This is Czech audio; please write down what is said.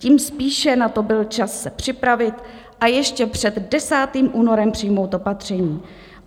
Tím spíše na to byl čas se připravit a ještě před 10. únorem přijmout opatření.